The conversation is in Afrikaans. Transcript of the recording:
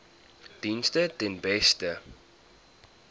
dienste ten beste